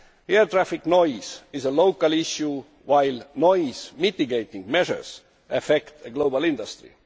Air traffic noise is a local issue, while noise mitigating measures affect a global industry.